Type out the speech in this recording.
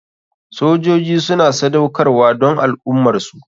Sojoji suna sadaukarwa don al ummarsu.